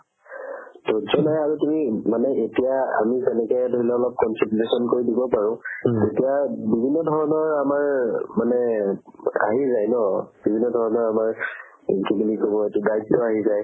ধৰ্য নাই আৰু তুমি মানে এতিয়া আমি তেনেকে ধৰি লোৱা দিব পাৰো তেতিয়া বিভিন্ন ধৰণৰ আমাৰ মানে আহি যাই ন বিভিন্ন ধৰণৰ আমাৰ কি বুলি ক'ব দায়িত্ব আহি যাই